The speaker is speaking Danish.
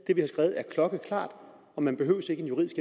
klokkeklart og man behøver ikke en juridisk